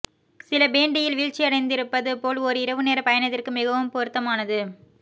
சில பேண்டியில் வீழ்ச்சியடைந்திருப்பது போல் ஒரு இரவுநேர பயணத்திற்கு மிகவும் பொருத்தமானது